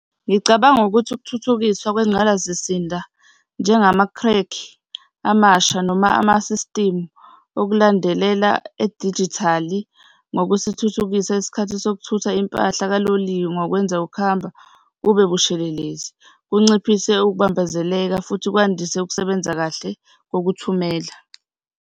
Ngicabanga ukuthi ukuthuthukisa kwengqalazisinda amasha noma amasistimu okulandelela edijithali ngokusithuthukisa isikhathi sokuthutha impahla kaloliwe ngokwenza ukuhamba kube bubushelelezi, kunciphise ukubambezeleka futhi kwandise ukusebenza kahle kokuthumela.